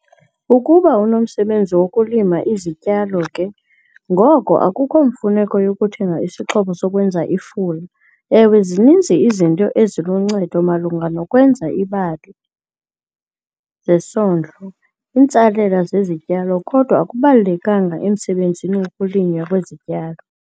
Ukuba unomsebenzi wokulima izityalo ke ngoko akukho mfuneko yokuthenga isixhobo sokwenza ifula. Ewe, zininzi izinto eziluncedo malunga nokwenza iibali zesondlo kwiintsalela zesityalo, kodwa akubalulekanga emsebenzini wokulinywa kwezityalo.